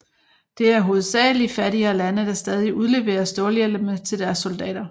Det er hovedsagelig fattigere lande der stadig udleverer stålhjelme til deres soldater